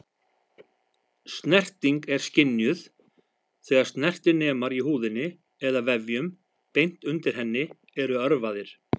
Snerting er skynjuð þegar snertinemar í húðinni eða vefjum beint undir henni eru örvaðir.